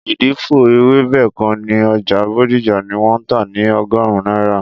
Ìdìpọ̀ ewébẹ̀ kan ní Ọjà Bodija ní wọn tà ni ọgọrun náírà